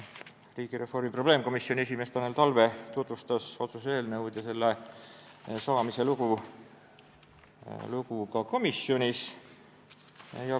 Riigireformi probleemkomisjoni esimees Tanel Talve tutvustas otsuse eelnõu ja selle saamise lugu ka komisjonis.